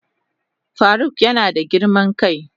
Faruk yana da girman kai.